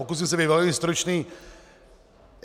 Pokusím se být velmi stručný.